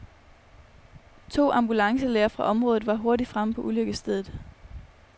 To ambulancelæger fra området var hurtigt fremme på ulykkesstedet.